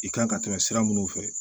I kan ka tɛmɛ sira minnu fɛ